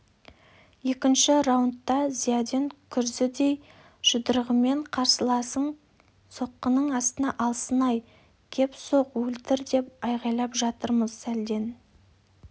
екінші раундта зиядин күрзідей жұдырығымен қарсыласын соққының астына алсын-ай кеп соқ өлтір деп айғайлап жатырмыз сәлден